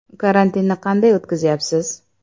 Karantinni qanday o‘tkazyapsiz?